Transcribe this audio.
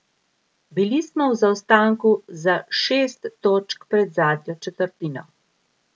Bili smo v zaostanku za šest točk pred zadnjo četrtino.